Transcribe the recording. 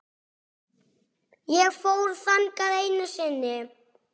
Ég fór þangað einu sinni.